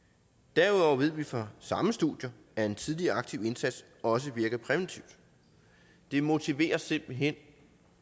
derudover ved vi fra samme studier at en tidlig og aktiv indsats også virker præventivt det motiverer simpelt hen